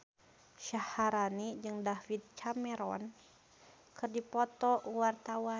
Syaharani jeung David Cameron keur dipoto ku wartawan